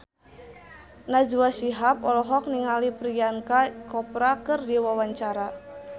Najwa Shihab olohok ningali Priyanka Chopra keur diwawancara